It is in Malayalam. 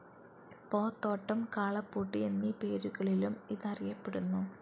പോത്തോട്ടം, കാളപ്പൂട്ട് എന്നീ പേരുകളിലും ഇതറിയപ്പെടുന്നു.